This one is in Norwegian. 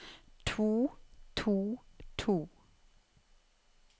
to to to